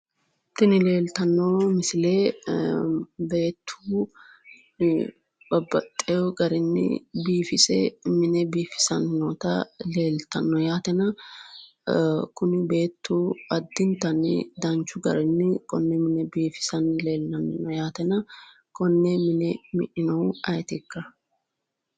Tini leelitanno misile beettu babbaxewo garinni biifise mine biifisanni noota leelitanno yaatena kuni beettu addinittanni danichu gariini konne mine biifisanni leellanno yaatena konne mine mi'nanni noohu ayetikka?